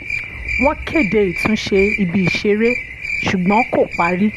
wọ́n kéde ìtúnṣe ibi ìṣeré ṣùgbọ́n kò parí